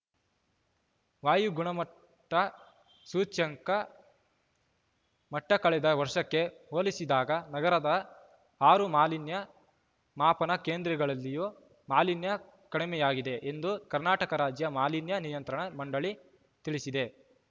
ವಾಯು ಗುಣಮಟ್ಟಸೂಚ್ಯಂಕ ಮಟ್ಟಕಳೆದ ವರ್ಷಕ್ಕೆ ಹೋಲಿಸಿದಾಗ ನಗರದ ಆರು ಮಾಲಿನ್ಯ ಮಾಪನ ಕೇಂದ್ರಗಳಲ್ಲಿಯೂ ಮಾಲಿನ್ಯ ಕಡಿಮೆಯಾಗಿದೆ ಎಂದು ಕರ್ನಾಟಕ ರಾಜ್ಯ ಮಾಲಿನ್ಯ ನಿಯಂತ್ರಣ ಮಂಡಳಿ ತಿಳಿಸಿದೆ